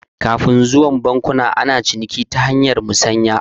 Kafun zuwan bankuna ana tsarin ciniki ta hanyar musanya